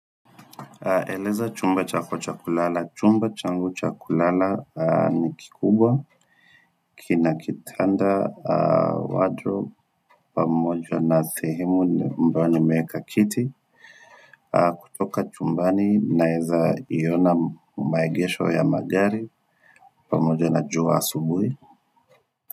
Eleza chumba chako cha kulala. Chumba changu cha kulala ni kikubwa, kina kitanda, wardrobe, pamoja na sehemu ambao nimeweka kiti, kutoka chumbani naeza iona maegesho ya magari, pamojo na jua asubui.